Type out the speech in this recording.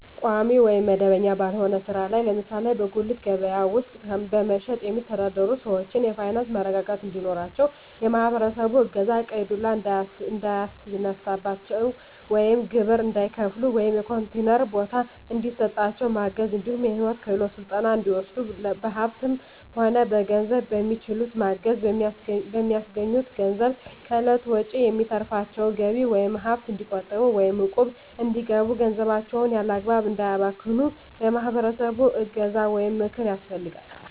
ቋሚ ወይም መደበኛ ባልሆነ ስራ ላይ ለምሳሌ በጉሌት ከበያ ውስጥ በመሸትጥ የሚተዳደሩትን ሰዎች የፋይናንስ መረጋጋት እንዲኖራቸው የማህበረሰቡ እገዛ ቀይ ዱላ እንዳያስነሳቸው ወይም ግብር እንዳይከፍሉ ወይም የኮንቲነር ቦታ እንዲሰጣቸው ማገዝ እንዲሁም የሂወት ክሄሎት ስልጠና እንዲወስዱ በሀሳብም ሆነ በገንዘብ በሚችሉት ማገዝ፣ በሚያገኙት ገንዘብ ከእለት ወጭዎች የሚተርፋቸውን ገቢ ወይም ሀብት እንዲቆጥቡ ወይም እቁብ እንዲገቡ ገንዘባቸውን ያላግባብ እንዳያባክኑ የማህበረሰቡ እገዛ ወይም ምክር ያስፈልጋል።